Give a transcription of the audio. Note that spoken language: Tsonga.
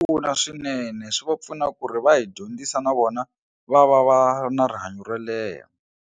Pfuna swinene swi va pfuna ku ri va hi dyondzisa na vona va va va na rihanyo ro leha.